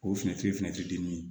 O fɛnɛ ti dimi ye